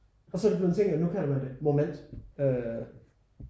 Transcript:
Og så er det blevet en ting at nu kalder man det moment